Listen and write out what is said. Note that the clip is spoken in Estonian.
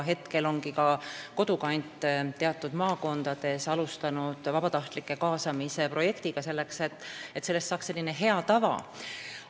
Kodukant ongi teatud maakondades alustanud vabatahtlike kaasamise projektiga, et sellest saaks hea tava.